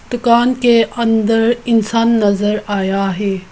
दुकान के अंदर इंसान नज़र आया है।